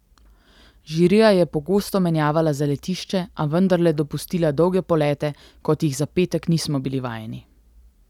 Žirija je pogosto menjavala zaletišče, a vendarle dopustila dolge polete, kot jih za petek nismo bili vajeni.